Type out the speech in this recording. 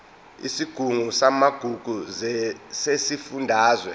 isigungu samagugu sesifundazwe